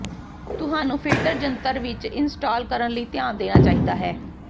ਤੁਹਾਨੂੰ ਫਿਲਟਰ ਜੰਤਰ ਵਿੱਚ ਇੰਸਟਾਲ ਕਰਨ ਲਈ ਧਿਆਨ ਦੇਣਾ ਚਾਹੀਦਾ ਹੈ